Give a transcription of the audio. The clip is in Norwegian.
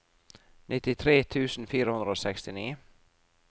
nittitre tusen fire hundre og sekstini